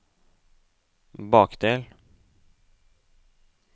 bakdel